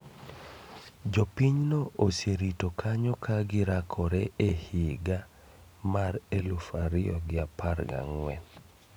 Jopinyno oserito kanyo ka girakore e higa mar eluf ariyo gi apar gang'wen